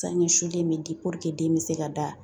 Sangɛ sulen bɛ di den bɛ se ka da